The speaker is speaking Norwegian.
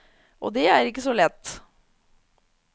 Og det er ikke så lett.